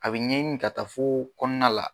A bɛ ɲɛɲi ka taa foo kɔɔna la